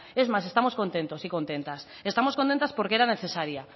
es más estamos contentos y contentas estamos contentas porque era necesaria